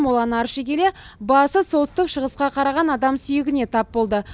моланы арши келе басы солтүстік шығысқа қараған адам сүйегіне тап болды